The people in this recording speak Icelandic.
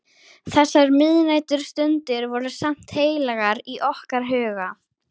Þessar miðnæturstundir voru samt heilagar í okkar huga.